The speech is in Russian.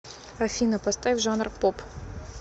афина поставь жанр поп